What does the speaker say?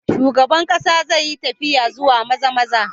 Shugaban kasa zai yi tafiya zuwa Maza-maza.